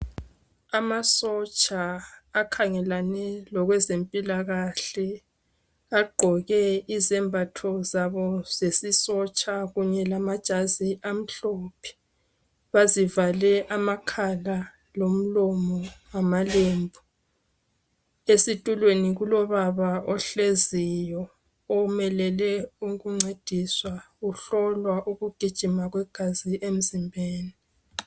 Amasotsha akhangelane lokwezempilakahle agqoke izembatho zabo zesisotsha kunye lamajazi amhlophe bazivale amakhala lomlomo ngamalembu. Esitulweni kulobaba ohleziyo omelele ukuncediswa uhlolwa ukugijima kwegazi emzimbeni.